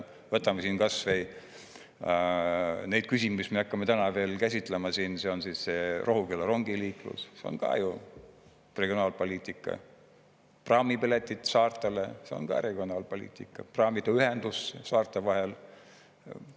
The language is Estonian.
Võtame kas või neid küsimusi, mis me hakkame täna veel käsitlema: Rohuküla rongiliiklus, see on ka ju regionaalpoliitika; praamipiletid saartele, see on ka regionaalpoliitika, praamiühendus saarte vahel.